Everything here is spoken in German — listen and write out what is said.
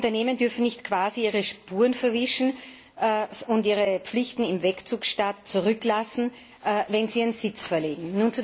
Unternehmen dürfen nicht quasi ihre Spuren verwischen und ihre Pflichten im Wegzugstaat zurücklassen, wenn sie ihren Sitz verlegen.